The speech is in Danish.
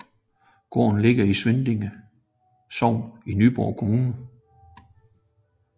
Gården ligger i Svindinge Sogn i Nyborg Kommune